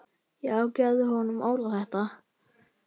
Já gefðu honum Óla þetta.